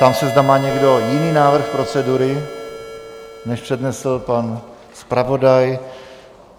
Ptám se, zda má někdo jiný návrh procedury, než přednesl pan zpravodaj?